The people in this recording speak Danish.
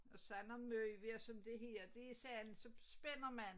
Og sådan nogen møbler som det her det satme så spænder man